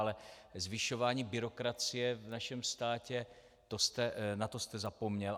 Ale zvyšování byrokracie v našem státě, na to jste zapomněl.